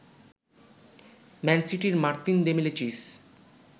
man সিটির Martin Demichelis